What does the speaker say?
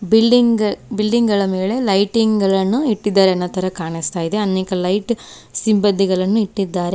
Building building ಗಳ ಮೇಲೆ lighting ಗಳನ್ನು ಇಟ್ಟಿದ್ದಾರೆ ಅನ್ನೋತರ ಕಾಣಿಸ್ತಾ ಇದೆ ಅನೇಕ ಲೈಟ್ ಸಿಂಬದಿಗಳನ್ನು ಇಟ್ಟಿದ್ದಾರೆ.